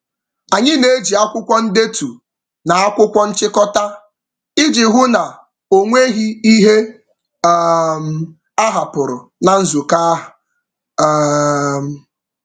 Anyị na-eji akwụkwọ ndetu na akwụkwọ nchịkọta iji hụ na o nweghị ihe um a hapụrụ na nzukọ ahụ. um